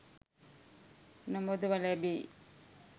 නොමදව ලැබේ.